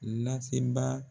lasebaa.